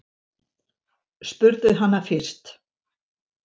Spurðu hana fyrst.